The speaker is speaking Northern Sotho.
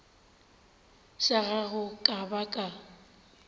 sa gago ka ba ka